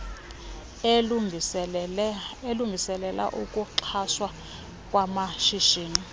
alungiselela ukuxhaswa kwamashishini